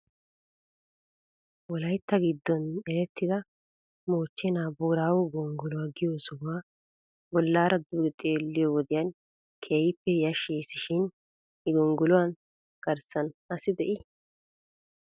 Wolaytta giddon erettida moochchenaa booraago gonggoluwaa giyoo sohuwaa bolaara duge xeelliyoo wodiyan keehippe hashshes shin he gonggoluwaa garssan asi de'enee?